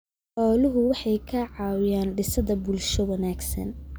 Xooluhu waxay ka caawiyaan dhisidda bulsho wanaagsan.